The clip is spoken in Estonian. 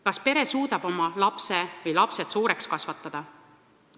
Kas pere suudab oma lapse või lapsed suureks kasvatada?